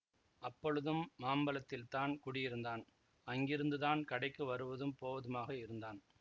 அப்பொழுதும் மாம்பலத்தில்தான் குடியிருந்தான் அங்கிருந்துதான் கடைக்கு வருவதும் போவதுமாக இருந்தான்